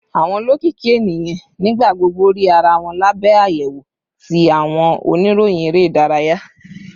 Awọn olokiki eniyan nigbagbogbo rii ara wọn labẹ ayewo ti awọn oniroyin ere idaraya.